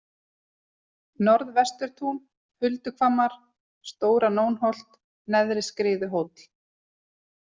Norðvesturtún, Hulduhvammar, Stóra-Nónholt, Neðri-Skriðuhóll